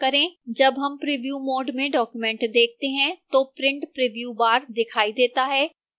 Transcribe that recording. जब हम preview mode में document देखते हैं तो print preview bar दिखाई देता है